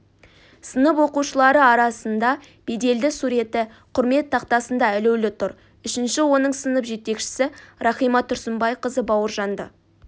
сынып оқушылары арасында беделді суреті құрмет тақтасында ілулі тұр үшінші оның сынып жетекшісі рахима тұрсынбайқызы бауыржанды